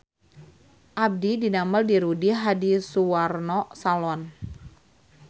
Abdi didamel di Rudy Hadisuwarno Salon